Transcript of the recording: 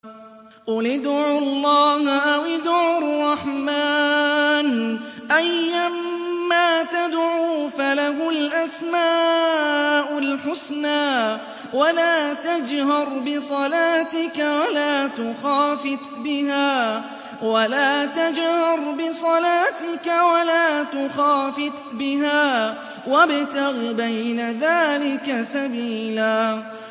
قُلِ ادْعُوا اللَّهَ أَوِ ادْعُوا الرَّحْمَٰنَ ۖ أَيًّا مَّا تَدْعُوا فَلَهُ الْأَسْمَاءُ الْحُسْنَىٰ ۚ وَلَا تَجْهَرْ بِصَلَاتِكَ وَلَا تُخَافِتْ بِهَا وَابْتَغِ بَيْنَ ذَٰلِكَ سَبِيلًا